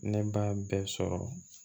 Ne b'a bɛɛ sɔrɔ